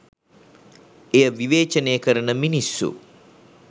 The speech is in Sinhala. එය විවේචනය කරන මිනිස්සු